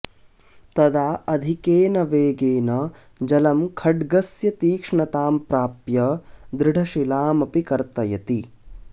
तदा अधिकेन वेगेन जलं खड्गस्य तीक्ष्णतां प्राप्य दृढशिलामपि कर्तयति